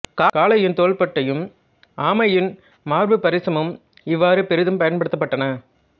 காளையின் தோல் பட்டையும் ஆமையின் மார்புப்பரிசமும் இவ்வாறு பெரிதும் பயன்படுத்தப்பட்டன